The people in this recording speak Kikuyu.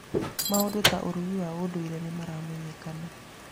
Maũndũ ta ũrugi wa ũndũire nĩ maramenyekana.